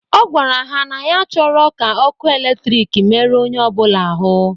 Ọ gwara ha na ya achọrọ ka ọkụ eletrik meru onye ọbụla ahụ.